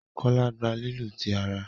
Kola gbà lílu tí àrà.